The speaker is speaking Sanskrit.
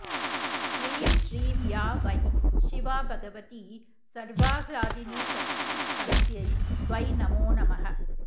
ह्रीं श्रीं या वै शिवा भगवती सर्वाह्लादिनीशक्तिस्तस्यै वै नमो नमः